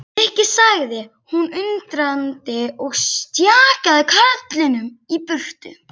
Nikki sagði hún undrandi og stjakaði karlinum í burtu.